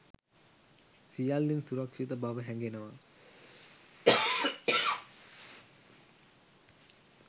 සියල්ලෙන් සුරක්‍ෂිත බව හැඟෙනවා